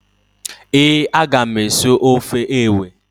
Ee, a ga m esi ofe ewe.